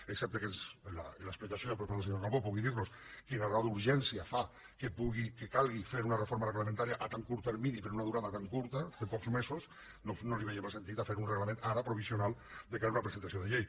excepte que en l’explicació per part del senyor calbó pugui dir nos quina raó d’urgència fa que calgui fer una reforma reglamentària a tan curt termini per a una durada tan curta de pocs mesos doncs no veiem el sentit de fer un reglament ara provisional de cara a una presentació de llei